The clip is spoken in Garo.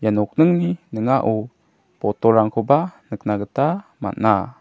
nokningni ning·ao botolrangkoba nikna gita man·a.